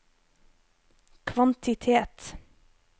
kvantitet